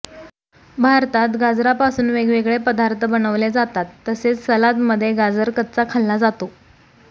भारतात गाजरापासून वेगवेगळे पदार्थ बनवले जातात तसेच सलाद मध्ये गाजर कच्चा खाल्ला जातो